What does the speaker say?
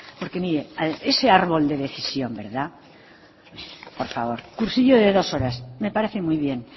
porque mire ese árbol de decisión verdad por favor cursillo de dos horas me parece muy bien